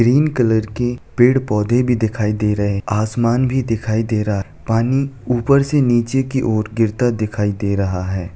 Green colour के पेड़ पौधे भी दिखाई दे रहे। आसमान भी दिखाई दे रहा। पानी ऊपर से नीचे की ओर गिरता दिखाई दे रहा है।